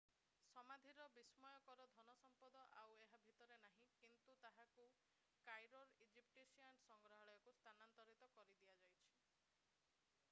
ସମାଧିର ବିସ୍ମୟକର ଧନ ସମ୍ପଦ ଆଉ ଏହା ଭିତରେ ନାହିଁ କିନ୍ତୁ ତାହାକୁ କାଇରୋର ଇଜିପ୍ସିଆନ୍ ସଂଗ୍ରହାଳୟକୁ ସ୍ଥାନାନ୍ତରିତ କରି ଦିଆଯାଇଛି